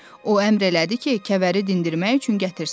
O əmr elədi ki, kəvəri dindirmək üçün gətirsinlər.